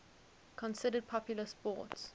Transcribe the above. considered popular sports